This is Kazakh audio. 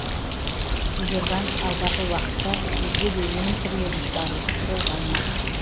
сбербанк алдағы уақытта өзге де өнім түрлерін шығаруды қолға алмақ